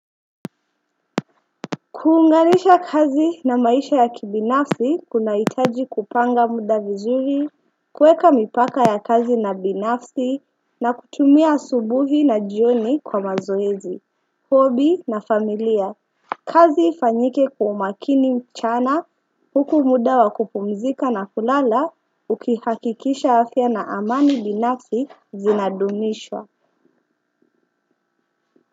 Kuunganisha kazi na maisha ya kibinafsi kunaitaji kupanga muda vizuri. Kuweka mipaka ya kazi na binafsi na kutumia asubuhi na jioni kwa mazoezi Hobby na familia. Kazi ifanyike kwa makini mchana huku muda wa kupumzika na kulala ukihakikisha afya na amani binafsi zinadumishwa.